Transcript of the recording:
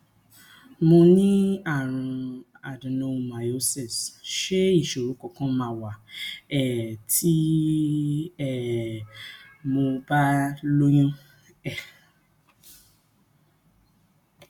mo ní àrùn adenomyosis ṣé isoro kankan ma wa um ti um mo ba lóyún um